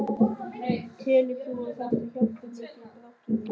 Telur þú að þetta hjálpi mikið í baráttunni?